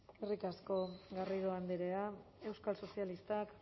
eskerrik asko garrido andrea euskal sozialistak